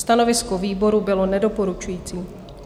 Stanovisko výboru bylo nedoporučující.